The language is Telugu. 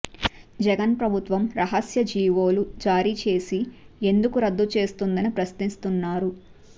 జగన్ ప్రభుత్వం రహస్య జీవోలు జారీ చేసి ఎందుకు రద్దు చేస్తోందని ప్రశ్నిస్తున్నారు